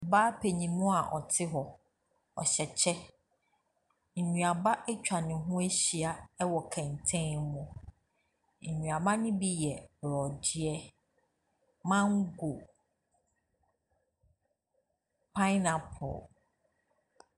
Ɔbaa paninmu a ɔte hɔ. Nnuaba atwa ne ahyia wɔ kɛntɛn mu. Nnuaba no yɛ borɔdeɛ, mango, pine apple.